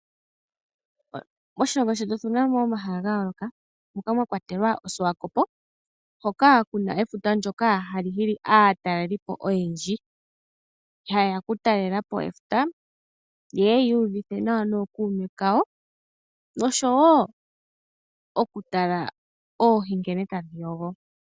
Moshilongo shetu otuna mo omahala ga yooloka moka mwa kwatelwa osuwakopo hoka kuna efuta ndjoka hali hili aatalelipo oyendji, ha yeya oku talelapo efuta yeye yi uvithe nawa nookuume kayo oshowo oku tala nkene oohi tadhi yogo.